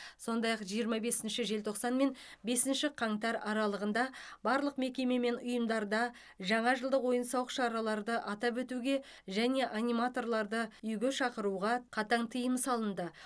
сондай ақ жиырма бесінші желтоқсан мен бесінші қаңтар аралығында барлық мекеме мен ұйымдарда жаңа жылдық ойын сауық шараларды атап өтуге және аниматорларды үйге шақыруға қатаң тыйым салынды